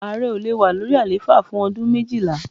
Ààrẹ ò le wà lórí àlééfà fún ọdún méjìlá.